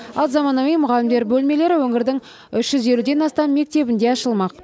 ал заманауи мұғалімдер бөлмелері өңірдің үш жүз елуден астам мектебінде ашылмақ